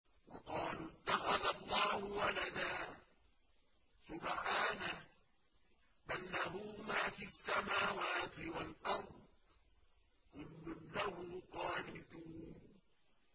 وَقَالُوا اتَّخَذَ اللَّهُ وَلَدًا ۗ سُبْحَانَهُ ۖ بَل لَّهُ مَا فِي السَّمَاوَاتِ وَالْأَرْضِ ۖ كُلٌّ لَّهُ قَانِتُونَ